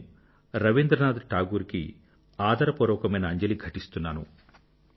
నేను రవీంద్రనాథ్ టాగూర్ కి ఆదరపూర్వకమైన అంజలిని ఘటిస్తున్నాను